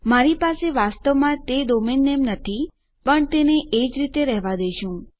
મારી પાસે વાસ્તવમાં તે ડોમેન નેમ નથી પણ આપણે તેને એજ રીતે રહેવાં દેશું